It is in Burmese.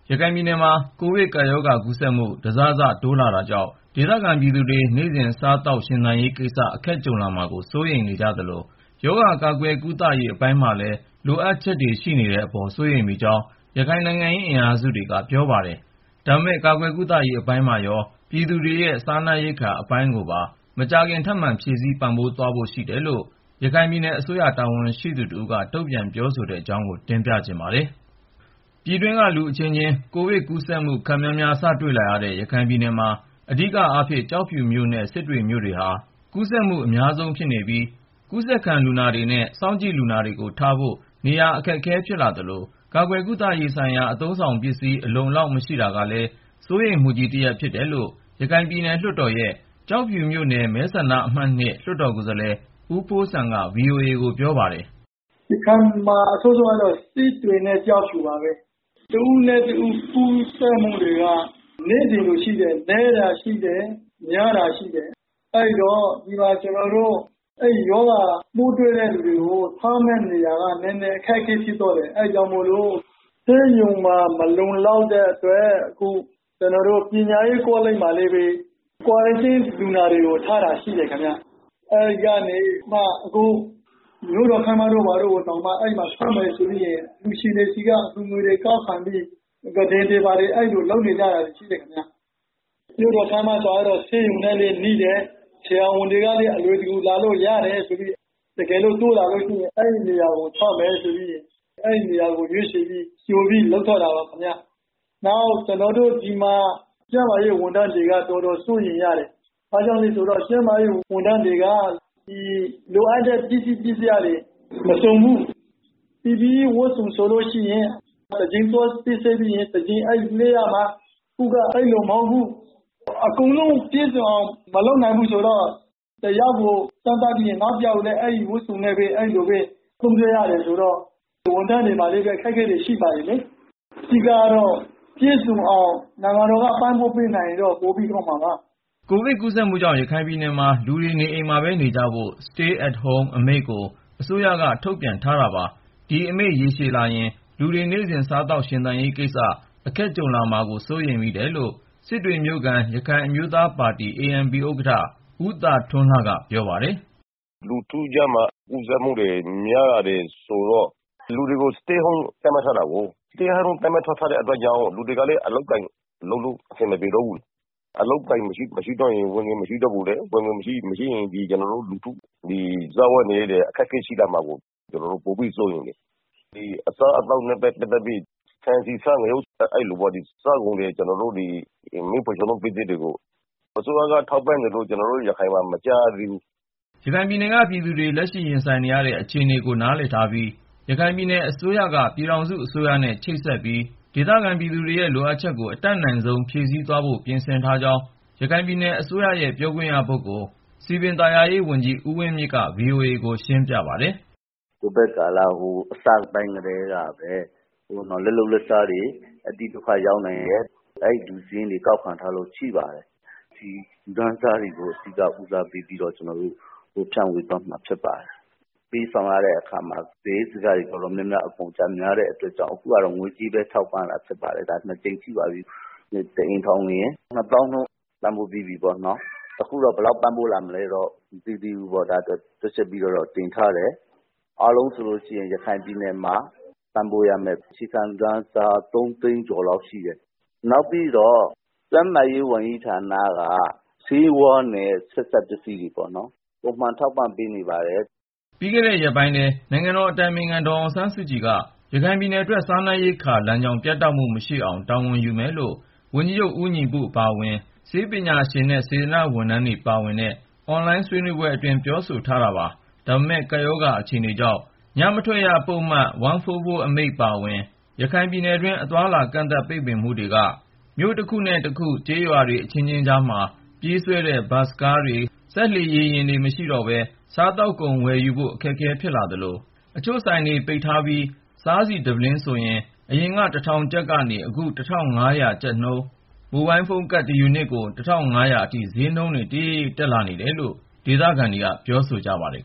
ရခိုင်ပြည်နယ်မှာ ကိုဗစ်ကပ်ရောဂါ ကူးစက်မှု တစစ တိုးလာနေတာကြောင့် ဒေသခံပြည်သူတွေ နေ့စဉ် စားသောက်ရှင်သန်ရေးကိစ္စ အခက်ကြုံလာမှာကို စိုးရိမ်နေကြသလို ရောဂါကာကွယ်ကုသရေး အပိုင်းမှာလည်း လိုအပ်ချက်ရှိနေတဲ့အပေါ် စိုးရိမ်မိကြောင်း ရခိုင်နိုင်ငံရေး အင်အားစုတွေက ပြောပါတယ်။ ဒါပေမယ့် ကာကွယ်ကုသရေး အပိုင်းမှာရော ပြည်သူတွေရဲ့ စားနပ်ရိက္ခာ အပိုင်းကိုပါ မကြာခင် ထပ်မံဖြည့်ဆည်း ပံ့ပိုးသွားဖို့ရှိတယ်လို့ ရခိုင်ပြည်နယ်အစိုးရ တာဝန်ရှိသူတဦးက တုံ့ပြန်ပြောဆိုတဲ့အကြောင်း ကိုဉာဏ်ဝင်းအောင် စုစည်းတင်ပြထားပါတယ်။ ပြည်တွင်းက အချင်းချင်း ကိုဗစ်ကူးစက်မှုတွေ ခပ်များများ စတွေ့လာရတဲ့ ရခိုင်ပြည်နယ်မှာ အဓိကအားဖြင့် ကျောက်ဖြူမြို့နဲ့ စစ်တွေမြို့တွေဟာ ကူးစက်မှု အများဆုံးဖြစ်နေပြီး ကူးစက်ခံလူနာတွေနဲ့ စောင့်ကြည့်လူနာတွေကို ထားဖို့ နေရာအခက်အခဲ ဖြစ်လာသလို ကာကွယ်ကုသရေးဆိုင်ရာ အသုံးအဆောင်ပစ္စည်း အလုံအလောက် မရှိတာကလည်း စိုးရိမ်မှုကြီးတရပ် ဖြစ်တယ်လို့ ရခိုင်ပြည်နယ်လွှတ်တော်ရဲ့ ကျောက်ဖြူမြို့နယ် မဲဆန္ဒနယ်အမှတ် ၂ လွှတ်တော်ကိုယ်စားလှယ် ဦးဖိုးစံက ဗွီအိုအေကို ပြောပါတယ်။ “ရခိုင်ပြည်မှာ ကူးစက်မှု အဆိုးဆုံးကတော့ စစ်တွေနဲ့ ကျောက်ဖြူပါပဲ။ တဦးနဲ့တဦး ကူးစက်မှုတွေက နေ့စဉ်လိုလိုရှိတယ်၊ နည်းတာရှိတယ် များတာရှိတယ်။ အဲဒီတော့ အဲဒီရောဂါပိုး တွေ့တဲ့သူတွေကို ကျနော်တို့ ထားမယ့်နေရာက နည်းနည်း အခက်အခဲ ဖြစ်သွားတယ်။ အဲဒါကြောင့်မို့လို့ ဆေးရုံမှာ မလုံလောက်တဲ့အတွက် အခု ပညာရေးကောလိပ်မှာလည်းပဲ ကွာရမ်တင်းလူနာတွေ ထားတာရှိတယ်ခင်ဗျ။ အဲဒီကနေမှ အခု မြို့တော်ခန်းမတို့ ဘာတို့ကို သုံးမယ်ဆိုပြီးတော့ အလှူရှင်တွေဆီက ငွေကောက်ခံပြီး ကုတင်တွေဘာတွေ ပြင်ဆင်နေကြတာ အဲလိုရှိတယ်။ မြို့တော်ခန်းမဆိုတာကတော့ ဆေးရုံနဲ့လည်းနီးတယ်၊ ဆရာဝန်တွေလည်း အလွယ်တကူ လာလို့ရတယ်ဆိုပြီး တကယ်လို့ လူနာတိုးလာလို့ရှိရင် အဲဒီနေရာမှာ ထားမယ်ဆိုပြီး ဒီနေရာကို ရွေးချယ်ပြီး ကြိုလုပ်ထားတာပါခင်ဗျ။ “နောက် ဒီမှာ ကျန်းမာရေးဝန်ထမ်းတွေက တော်တော် စိုးရိမ်ရတယ်။ ဘာကြောင့်လဲဆိုတော့ ကျန်းမာရေးဝန်ထမ်းတွေက လိုအပ်တဲ့ ပစ္စည်းပစ္စယတွေ မစုံလင်ကြဘူး။ PPE (Personal Protective Equipment) ဝတ်စုံဆိုလို့ရှိရင် တကြိမ်သွားစစ်ဆေးပြီးရင် တကြိမ်လဲပစ်ရမှာ၊ အခုက အဲလိုမဟုတ်ဘူး။ အကုန်လုံးပြည့်စုံအောင် မလုပ်နိုင်ဘူးဆိုတော့ လူနာတယောက်ကို သွားစမ်းသပ်ပြီးရင် နောက်တယောက်ကိုလည်း အဲဒီဝတ်စုံနဲ့ပဲ သုံးစွဲရတယ်ဆိုတော့ ဝန်ထမ်းတွေမှာလည်း အခက်အခဲတွေ ရှိပါတယ်လေ။ အဓိကတော့ ပြည့်စုံအောင် နိုင်ငံတော်အစိုးရက ပံ့ပိုးပေးနိုင်ရင်တော့ ပိုပြီးကောင်းမှာပါ။” ကိုဗစ် ကူးစက်မှုကြောင့် ရခိုင်ပြည်နယ်မှာ လူတွေ နေအိမ်မှာပဲနေကြဖို့ Stay at Home အမိန့်ကို အစိုးရက ထုတ်ပြန်ထားပါတယ်။ ဒီအမိန့် ရေရှည်လာရင် လူတွေ နေ့စဉ် စားသောက်ရှင်သန်ရေးကိစ္စ အခက်ကြုံလာမှာကို စိုးရိမ်ရတယ်လို့ စစ်တွေမြို့ခံ ရခိုင်အမျိုးသားပါတီ ဥက္ကဋ္ဌ ဦးသာထွန်းလှက ပြောပါတယ်။ “လူထုကြားမှာ ကူးစက်မှုများလာတော့ လူတွေကို Stay at Home သတ်မှတ်ထားတယ်။ အဲဒီလို သတ်မှတ်ထားတဲ့ အတွက်ကြောင့် လူတွေကလည်း အလုပ်အကိုင်လုပ်ဖို့ အဆင်မပြေတော့ဘူး။ အလုပ်အကိုင်မရှိရင် ဝင်ငွေမရှိတော့ဘူးလေ။ ဝင်ငွေမရှိရင် ကျနော်တို့လူထု စားဝတ်နေရေး အခက်အခဲ ရှိလာမှာကို ကျနော်တို့ ပိုပြီး စိုးရိမ်တယ်။ အစားအသောက်နဲ့ ပတ်သက်ပြီး ဆန် ဆီ ဆား ငရုတ် အဲလိုပေါ့ စားကုန်တွေ၊ မီးဖိုချောင်သုံး ပစ္စည်းတွေကို အစိုးရက ထောက်ပံ့တယ်လို့ ကျနော်တို့ ရခိုင်မှာ မကြားရသေးဘူး။” ရခိုင်ပြည်နယ်က ပြည်သူတွေ လက်ရှိရင်ဆိုင်နေရတဲ့ အခြေအနေကို နားလည်ထားပြီး ရခိုင်ပြည်နယ် အစိုးရက ပြည်ထောင်စုအစိုးရနဲ့ ချိတ်ဆက်ပြီး ဒေသခံပြည်သူတွေရဲ့ လိုအပ်ချက်ကို အတတ်နိုင်ဆုံး ဖြည့်ဆည်းသွားဖို့ ပြင်ဆင်ထားကြောင်း ရခိုင်ပြည်နယ်အစိုးရရဲ့ ပြောခွင့်ရပုဂ္ဂိုလ် စည်ပင်သာယာရေးဝန်ကြီး ဦးဝင်းမြင့်က ဗွီအိုအေကို ရှင်းပြပါတယ်။ “ကိုဗစ်ကာလ အစပိုင်းကတည်းကပဲ လက်လုပ်လက်စားတွေ အတိဒုက္ခရောက်နေတဲ့ လူစာရင်းကို ကောက်ခံထားတာ ရှိပါတယ်။ ဒီ လူတန်းစားတွေကို အဓိက ဦးစားပေးပြီး ကျနော်တို့ ဖြန့်ဝေသွားမှာ ဖြစ်ပါတယ်။ သူတို့ကို ပေးဝေတဲ့အခါမှာ စရိတ်စက အတော်များများ အကုန်အကျ များတဲ့အတွက်ကြောင့် အခုကတော့ ငွေကြေးပဲ ထောက်ပံ့ပါတယ်။ ၂ ကြိမ်ရှိပါပြီ ထောက်ပံ့တာ။ တအိမ်ထောင်ကို ကျပ် ၂၀,၀၀၀ နှုန်း သတ်မှတ်ခဲ့တာပေါ့နော်။ အခုတော့ ဘယ်လောက်ပံ့ပိုးလာမလဲတော့ မသိသေးဘူးပေါ့။ ကျနော်တို့က တွက်ချက်ပြီးတော့ တင်ထားပါတယ်။ အားလုံးဆိုရင် ရခိုင်ပြည်နယ်မှာ ပံ့ပိုးရမယ့်ဦးရေ အခြေခံလူတန်းစား ၃ သိန်းကျော်ရှိပါတယ်။ နောက်ပြီးတော့ ကျန်းမာရေးဝန်ကြီးဌာနက ဆေးဝါးနဲ့ ဆက်စပ်ပစ္စည်းတွေကို ပုံမှန် ထောက်ပံ့ပေးနေပါတယ်။” ပြီးခဲ့တဲ့ရက်ပိုင်းထဲ နိုင်ငံတော်အတိုင်ပင်ခံ ဒေါ်အောင်ဆန်းစုကြည်က ရခိုင်ပြည်နယ်အတွက် စားနပ်ရိက္ခာလမ်းကြောင်း ပြတ်တောက်မှုမရှိအောင် တာဝန်ယူမယ်လို့ ဝန်ကြီးချုပ် ဦးညီပု အပါအဝင် ဆေးပညာရှင်နဲ့ စေတနာ့ဝန်ထမ်းတွေ ပါဝင်တဲ့ အွန်လိုင်း ဆွေးနွေးပွဲအတွင်း ပြောဆိုထားတာပါ။ ဒါပေမယ့်လည်း ကပ်ရောဂါအခြေအနေကြောင့် ညမထွက်ရ ပုဒ်မ ၁၄၄ အမိန့် အပါအဝင် ရခိုင်ပြည်နယ်တွင်း အသွားအလာ ပိတ်ပင်ကန့်သတ်မှုက မြို့တခုနဲ့တခု ကျေးရွာတွေအချင်းချင်းကြားမှာ ပြေးဆွဲတဲ့ ဘတ်စ်ကားတွေ၊ စက်လှေ ရေယာဉ်တွေ မရှိတော့ဘဲ စားသောက်ကုန်ဝယ်ယူဖို့ အခက်အခဲ ဖြစ်လာသလို အချို့ဆိုင်တွေ ပိတ်ထားပြီး စားဆီတပုလင်းဆိုရင် အရင် ၁,၀၀၀ ကျပ်ကနေ အခု ၁,၅၀၀ ကျပ်နှုန်း၊ မိုဘိုင်းဖုန်းကတ် တယူနစ်ကို ၁,၅၀၀ အထိ ဈေးနှုန်းတွေ တရိပ်ရိပ် တက်လာနေတယ်လို့ ဒေသခံတွေက ပြောဆိုနေကြပါတယ်